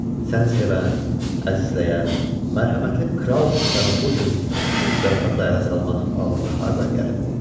Səni sevən, əzizləyən, mərhəmətli kral atanı bu cür şit zarafatla ələ salmaq ağlına hardan gəlib?